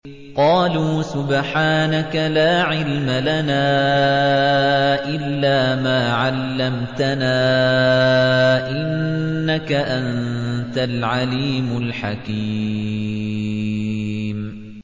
قَالُوا سُبْحَانَكَ لَا عِلْمَ لَنَا إِلَّا مَا عَلَّمْتَنَا ۖ إِنَّكَ أَنتَ الْعَلِيمُ الْحَكِيمُ